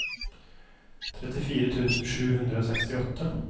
trettifire tusen sju hundre og sekstiåtte